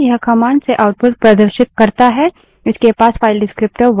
यह commands से output प्रदर्शित करता है इसके पास file descriptor विवरणक वन 1 है